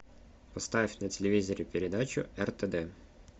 поставь на телевизоре передачу ртд